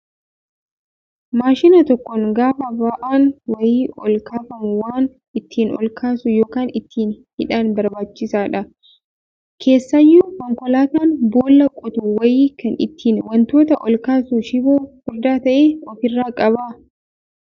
Maashina tokkoon gaafa ba'aan wayii ol kaafamu waan ittiin ol kaasu yookaan ittiin hidhan barbaachisaadha. Keessaayyuu konkolaataan boolla qotu wayii kan ittiin wantoota ol kaasu shiboo furdaa ta'e ofirraa qaba.